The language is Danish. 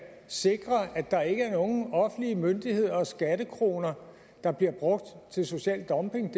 sikre at der ikke er nogen offentlige myndigheder og skattekroner der bliver brugt til social dumping